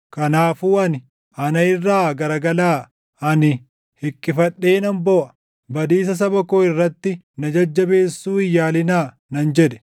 Kanaafuu ani, “Ana irraa garagalaa; ani hiqqifadhee nan booʼa. Badiisa saba koo irratti na jajjabeessuu hin yaalinaa” nan jedhe.